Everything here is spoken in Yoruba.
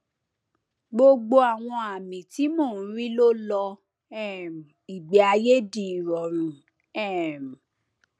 gbogbo àwọn àmì tí mo ń rí ló lọ um ìgbéayé di ìrọrùn um